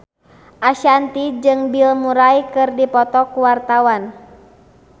Ashanti jeung Bill Murray keur dipoto ku wartawan